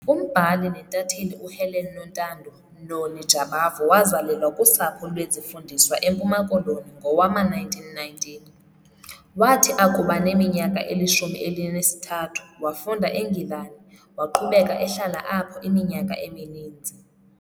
Umbhali nentatheli uHelen Nontando "Noni" Jabavu wazalelwa kusapho lwezifundiswa eMpuma Koloni ngowama-1919. Wathi akuba neminyaka elishumi elinesithathu, wafunda eNgilani, waqhubeka ehlala apho iminyaka emininzi.